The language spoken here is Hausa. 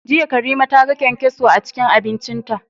Jiya Karima ta ga kyankyaso a cikin abincinta.